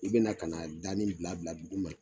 I bɛna ka na a danin bila bila duguma.